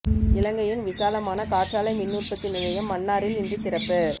இலங்கையின் விசாலமான காற்றாலை மின் உற்பத்தி நிலையம் மன்னாரில் இன்று திறப்பு